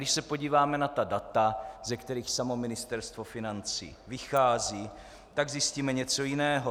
Když se podíváme na ta data, ze kterých samo Ministerstvo financí vychází, tak zjistíme něco jiného.